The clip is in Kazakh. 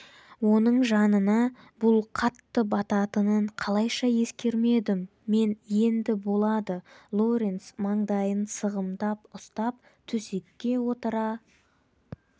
оның жанына бұл қатты бататынын қалайша ескермедім мен енді болады лоренс маңдайын сығымдап ұстап төсекке отыра